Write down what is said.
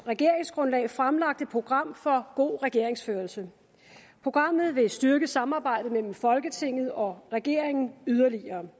regeringsgrundlag fremlagt et program for god regeringsførelse programmet vil styrke samarbejdet mellem folketinget og regeringen yderligere